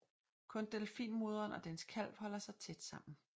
Kun delfinmoderen og dens kalv holder sig tæt sammen